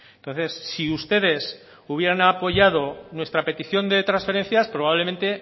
entonces si ustedes hubieran apoyado nuestra petición de transferencias probablemente